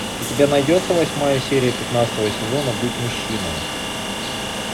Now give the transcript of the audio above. у тебя найдется восьмая серия пятнадцатого сезона будь мужчиной